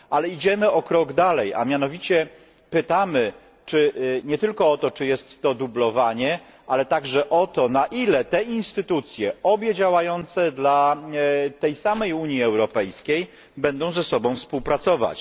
Idziemy o krok dalej a mianowicie pytamy nie tylko o to, czy jest to dublowanie, ale także o to, na ile te instytucje, obie działające dla tej samej Unii Europejskiej, będą ze sobą współpracować.